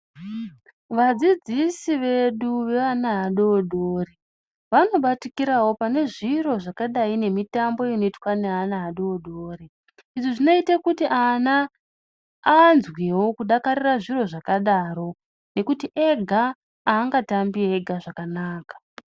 Vadzidzisi vedu vevana vadodori vanobatikirawo panezviro zvakadai nemitambo inoitwa neana adodori izvi zvinoite kuti ana anzwewo kudakarira zviro zvakadaro nekuti ega angatambi ega zvakanaka.